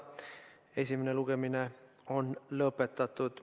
Esimene lugemine on lõpetatud.